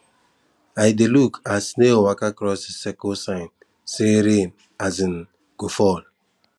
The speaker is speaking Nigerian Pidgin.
i dey look as snail waka cross the circle sign say rain um go fal